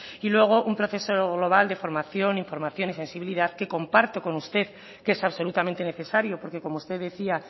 y luego un proceso global de formación información y sensibilidad que comparto con usted que es absolutamente necesario porque como usted decía